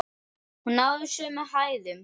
Hún náði sömu hæðum!